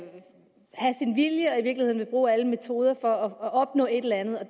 sin vilje og i virkeligheden vil bruge alle metoder for at opnå et eller andet og